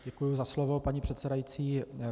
Děkuji za slovo, paní předsedající.